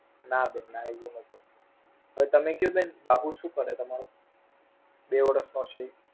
ના બેન ના. એવું નોતું હવે તમે કયો બેન બાબો સુ કરે તમારો બે વર્ષ નો છે ઈ?